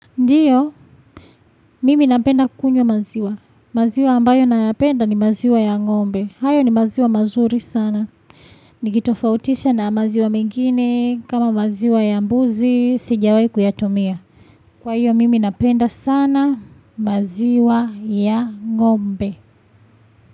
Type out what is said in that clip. Ndiyo, mimi napenda kunywa maziwa. Maziwa ambayo nayapenda ni maziwa ya ngombe. Hayo ni maziwa mazuri sana. Nikitofautisha na maziwa mengine kama maziwa ya mbuzi, sijawai kuyatumia. Kwa hiyo mimi napenda sana maziwa ya ngombe.